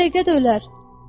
O dəqiqə də ölər.